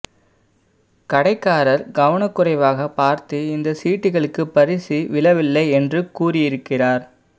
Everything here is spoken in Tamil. கடைக்காரர் கவனக்குறைவாக பார்த்து இந்த சீட்டுகளுக்கு பரிசு விழவில்லை என்று கூறியிருக்கிறார்